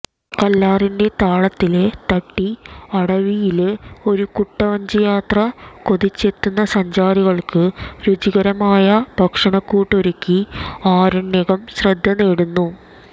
കല്ലാറിന്റെ താളത്തില് തട്ടി അടവിയില് ഒരു കുട്ടവഞ്ചിയാത്ര കൊതിച്ചെത്തുന്ന സഞ്ചാരികള്ക്ക് രുചികരമായ ഭക്ഷണക്കൂട്ടൊരുക്കി ആരണ്യകം ശ്രദ്ധനേടുന്നു